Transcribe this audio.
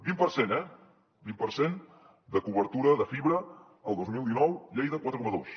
vint per cent eh vint per cent de cobertura de fibra el dos mil dinou lleida quatre coma dos